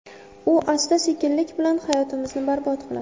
U asta-sekinlik bilan hayotimizni barbod qiladi.